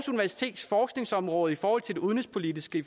universitets forskningsområde på forhold til det udenrigspolitiske